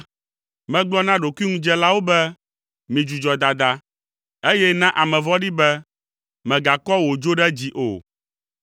Megblɔ na ɖokuiŋudzelawo be, ‘Midzudzɔ dada,’ eye na ame vɔ̃ɖi be, ‘Mègakɔ wò dzo ɖe dzi o.